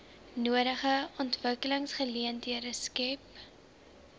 nodige ontwikkelingsgeleenthede skep